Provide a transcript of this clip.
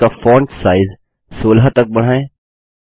headings का font size 16 तक बढ़ाएँ